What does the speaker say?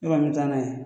Ne kɔni bɛ taa n'a ye